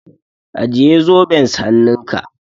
Ajiye zoben s hannunka.